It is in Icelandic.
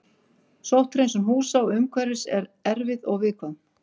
Sótthreinsun húsa og umhverfis er erfið og viðkvæm.